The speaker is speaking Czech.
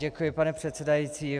Děkuji, pane předsedající.